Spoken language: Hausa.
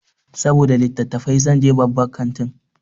Saboda littatafai zan je babban kantin.